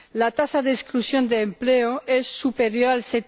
La tasa de exclusión de empleo es superior al